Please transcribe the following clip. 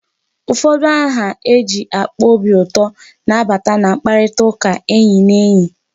Ụfọdụ aha eji akpa obi ụtọ na-abata na mkparitaụka enyi na enyi.